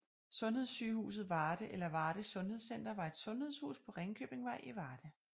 Sundhedssygehuset Varde eller Varde Sundhedscenter var et sundhedshus på Ringkøbingvej i Varde